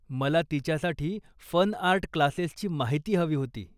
मला तिच्यासाठी फनआर्ट क्लासेसची माहिती हवी होती.